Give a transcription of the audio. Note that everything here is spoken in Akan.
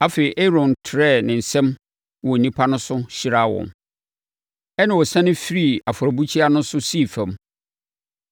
Afei, Aaron trɛɛ ne nsam wɔ nnipa no so hyiraa wɔn, ɛnna ɔsiane firii afɔrebukyia no ho sii fam.